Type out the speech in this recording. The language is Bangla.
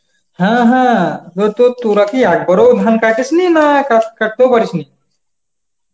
হ্যাঁ হ্যাঁ হতো তো, তোরা কি একবারও ধান কাটিস নি না কা~ কাটতেও পারিস নি?